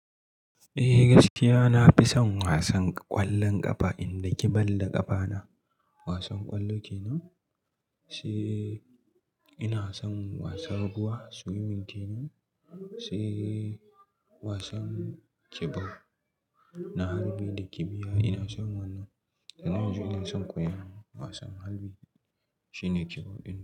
Eh gaskiya nafi son wasan ƙwallon ƙafa, in daki ball da ƙafa na. Wasan ƙwallo kenan, sai ina son wasan ruwa swimming kenan, sai wasan kibiya na harbi da kibiya ina son wannan. Amma yanzu ina son koya wasan harbi shine kibau ɗin nan.